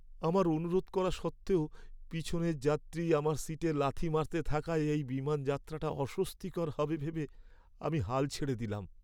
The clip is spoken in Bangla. আমার অনুরোধ করা সত্ত্বেও পিছনের যাত্রী আমার সিটে লাথি মারতে থাকায় এই বিমানযাত্রাটা অস্বস্তিকর হবে ভেবে আমি হাল ছেড়ে দিলাম।